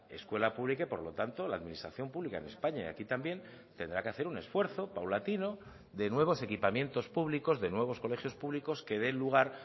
escuela pública y por lo tanto la administración pública en españa y aquí también tendrá que hacer un esfuerzo paulatino de nuevos equipamientos públicos de nuevos colegios públicos que den lugar